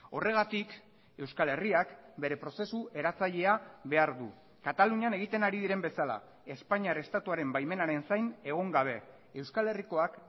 horregatik euskal herriak bere prozesu eratzailea behar du katalunian egiten ari diren bezala espainiar estatuaren baimenaren zain egon gabe euskal herrikoak